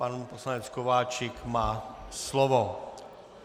Pan poslanec Kováčik má slovo.